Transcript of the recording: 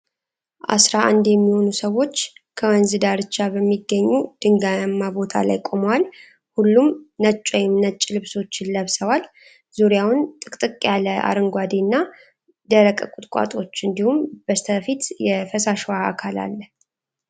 አሥራ አንድ የሚሆኑ ሰዎች ከወንዝ ዳርቻ በሚገኙ ድንጋያማ ቦታ ላይ ቆመዋል። ሁሉም ነጭ ወይም ነጭ ልብሶችን ለብሰዋል። ዙሪያውን ጥቅጥቅ ያለ አረንጓዴ እና ደረቅ ቁጥቋጦዎች እንዲሁም በስተፊት የፈሳሽ ውሃ አካል አለ።